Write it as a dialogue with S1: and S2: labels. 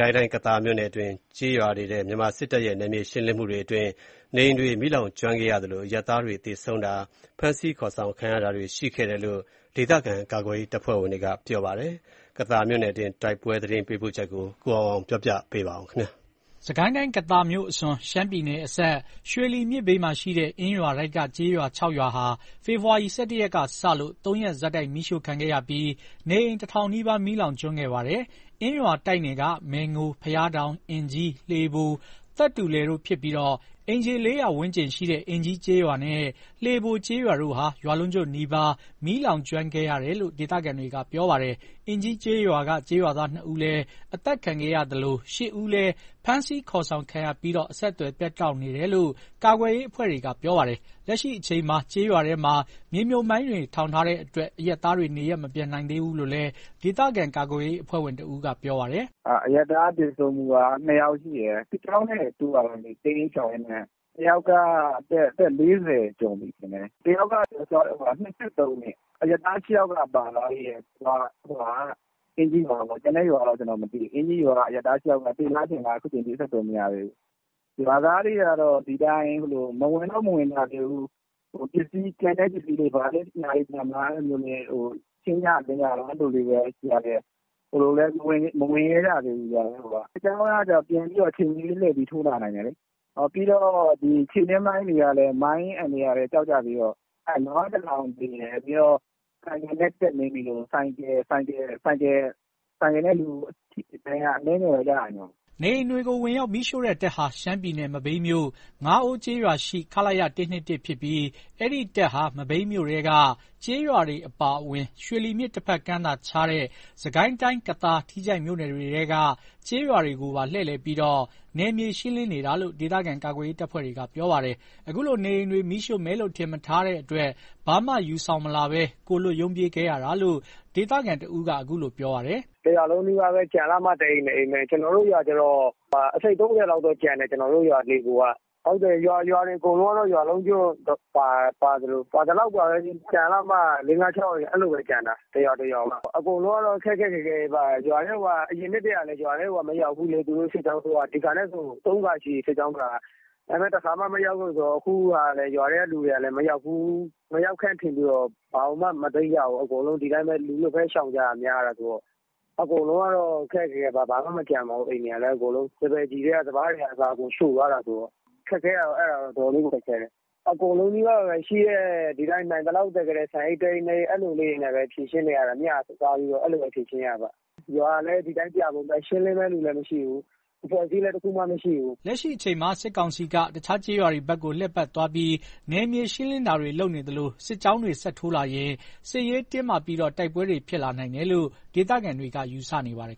S1: ိုင်းတိုင်း၊ ကသာမြို့နယ်တွင်း ကျေးရွာတွေထဲ မြန်မာစစ်တပ်ရဲ့ နယ်မြေရှင်းလင်းမှုတွေအတွင်း နေအိမ်တွေမီးလောင်ကျွမ်းခဲ့ရသလို အရပ်သားတွေ သေဆုံးတာ ဖမ်ဆီးခေါ်ဆောင်ခံရတာတွေ ရှိခဲ့တယ်လို့ ဒေသခံကာကွယ်ရေး တပ်ဖွဲ့ဝင်တွေက ပြောပါတယ်။ ကသာမြို့နယ်တွင်း တိုက်ပွဲသတင်းပေးပို့ချက်ကို ကိုအောင်အောင်က ပြောပြမှာပါ။ စစ်ကိုင်းတိုင်း ကသာမြို့အစွန် ရှမ်းပြည်နယ်အစပ် ရွှေလီမြစ်ဘေးမှာရှိတဲ့ အင်းရွာတိုက်က ကျေးရွာ ၆ ရွာဟာ ဖေဖော်ဝါရီ ၁၁ ရက်ကစလို့ ၃ ရက် ဆက်တိုက် မီးရှို့ခံခဲ့ရပြီး နေအိမ် ၁ ထောင်နီးပါး မီးလောင်ကျွမ်းခဲ့ပါတယ်။ အင်းရွာတိုက်နယ်က မယ်ငို ၊ ဘုရားတောင် ၊ အင်ကြီး ၊ လှေဘို ၊ သက်တူလယ်တို့ဖြစ်ပြီး အိမ်ခြေ ၄၀၀ ဝန်းကျင်ရှိတဲ့ အင်ကြီးကျေးရွာနဲ့ လှေဘိုကျေးရွာတို့ဟာ ရွာလုံးကျွတ်နီးပါး မီးလောင်ကျွမ်းခဲ့ရတာ်လို့ ဒေသခံတွေကပြောပါတယ်။ အင်ကြီးကျေးရွာက ကျေးရွာသား ၂ ဦးလည်း အသတ်ခံခဲ့ရသလို ၈ ဦးဟာလည်း ဖမ်းဆီးခေါ်ဆောင်ခံခဲ့ရပြီး အဆက်အသွယ် ပြတ်တောက်နေတယ်လို့ ကာကွယ်ရေး အဖွဲ့တွေက ပြောပါတယ်။ လက်ရှိအချိန်မှာ ကျေးရွာတွေထဲမှာ မြှေမြုပ်မိုင်းတွေ ထောင်ထားတဲ့အတွက် အရပ်သားတွေ နေရပ်မပြန်နိုင်သေးဘူးလို့လည်း ဒေသခံကာကွယ်ရေးအဖွဲ့ဝင်တဦးက ပြောပါတယ်
S2: ။ “အရပ်သား သေဆုံးမှုက ၂ ယောက်ရှိတယ်။ စစ်ကြောင်းနဲ့တိုးတာပေါ့ တိမ်းရှောင်ရင်းနဲ့ တယောက်က အသက် ၄၀ ကျော်ပြီ တယောက်က ၂၃ နှစ် အရပ်သား ၈ ယောက်လည်း ပါသွားသေးတယ်။ အင်းကြီးရွာကပေါ့။ ကျန်တဲ့ရွာကတော့ မသိသေးဘူး။ အင်ကြီးရွာက ၈ ယောက်ကတော့ သေသလား ရှင်သလား အခုထိ အဆက်အသွယ်မရသေးဘူး။ ရွာသားတွေကတော့ ဒီအတိုင်း မဝင်တော့ မဝင်ကြသေးဘူး။ ကျန်တဲ့ပစ္စည်းလေးတွေရှိမလား ရှင်းကြလင်းကြတုန်း အဲ့လိုလေးပဲရှိတယ်။ ဟိုလိုလည်း မဝင်ရဲကြသေးဘူး။ စစ်ကြောင်းက အချိန်မရွေးလှည့်ထိုးလာနိုင်တယ်လေ။ ပြီးတော့ ခြေနင်းမိုင်းတွေက မိုင်းအန္တရာယ်ကလည်း ကြောက်ကြသေးတော့ နွား ၁ ကောင်သေတယ်။ ဆိုင်ကယ်နဲ့ တက်နင်းမိလို့ ဆိုင်ကယ်နဲ့လူ အနည်းငယ် ဒဏ်ရာတော့ ရတ
S1: ယ်။” နေအိမ်တွေကို ဝင်ရောက်မီးရှို့တဲ့တပ်ဟာ ရှမ်းပြည်နယ် မဘိမ်းမြို့ ငါးအိုးကျေးရွာရှိ ခလရ ၁၂၁ ဖြစ်ပြီး အဲ့ဒီ့တပ်ဟာ မဘိမ်းမြို့ထဲက ကျေးရွာတွေအပါအဝင် ရွှေလီမြစ်တဖက်ကမ်းသာခြားတဲ့ စစ်ကိုင်းတိုင်း ကသာ ၊ ထီးချိုင့်မြို့နယ်တွေထဲက ကျေးရွာတွေကိုပါ လှည့်လည်ပြီး နယ်မြေရှင်းလင်းနေတာလို့ ဒေသခံကာကွယ်ရေး တပ်ဖွဲ့တွေက ပြောပါတယ်။ အခုလိုနေအိမ်တွေ မီးရှို့မယ်လို့ ထင်မထားတဲ့အတွက် ဘာမှမယူဆောင်လာဘဲ ကိုယ်လွတ်ရုန်းပြေးခဲ့ရတာလို့ ဒေသခံတဦးက အခုလို ပြောပြပါတယ်
S2: ။ “တရွာလုံးနီးပါးတွေပဲ ကျန်လှမှ ၁ အိမ် ၂ အိမ်ပဲ ကျွန်တော်တို့ရွာက ၂၅/၃၀ လောက်ကျန်တယ်။ ဟုတ်တယ် ရွာတွေအကုန်လုံးက ရွာလုံးကျွတ်ပါသလောက်ပါပဲ။ ကျန်လှမှ ၄/၅/၆ အိမ် အဲ့လိုပဲကျန်တာ။ အကုန်လုံးက ခက်ခက်ခဲခဲပါပဲ အရင်နှစ်တွေက ရွာထဲကို မရောက်ဖူးလေ သူတို့စစ်ကြောင်းထိုးတာက ဒီအခါနဲ့ဆို ၃ ခါရှိပြီ စစ်ကြောင်းက ဒါပေမယ့် တခါမှ မရောက်ဘူး။ ရွာထဲကလူတွေကလည်း မရောက်ဖူးထင်ပြီးတော့ ဘာကိုမှ မသိမ်းကြဘူး။ အကုန်လူလွတ်ပဲ ရှောင်ကြတာဆိုတော့ အကုန်လုံးကတော့ ခက်ခက်ခဲခဲပါ။ ဘာမှမကျန်ပါဘူး အိမ်တွေ စပါးကျီထဲက စပါးတွေပါ အကုန်ရှို့သွားတာဆိုတော့ ခက်ခဲတာတော့ အဲ့ဒါတွေတော့ ခက်ခဲတယ်။ အကုန်လုံး နိုင်သလောက် သယ်ခဲ့တဲ့ ဆန် ၁ အိတ် ၂ အိတ်လေးတွေနဲ့ မျှစားပြီးဖြေရှင်းနေရတာပေါ့။ ရွာလည်း ပြာပုံပဲ ရှင်းလင်းမယ့်သူလည်းမရှိ
S1: ဘူး။ အဖွဲ့အစည်းလည်း တခုမှ မရှိဘူး။” လက်ရှိအချိန်မှာ စစ်ကောင်စီက အခြားကျေးရွာတွေဘက်ကို လှည့်ပတ်သွားပြီး နယ်မြေရှင်းလင်းတာတွေလုပ်နေသလို စစ်ကြောင်းတွေ ဆက်ထိုးလာရင် စစ်ရေးတင်းမာပြီး တိုက်ပွဲတွေ ဖြစ်လာနိုင်တယ်လို့ ဒေသခံတွေက ယူဆနေကြပါတယ်